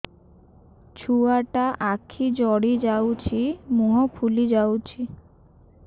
ଛୁଆଟା ଆଖି ଜଡ଼ି ଯାଉଛି ମୁହଁ ଫୁଲି ଯାଉଛି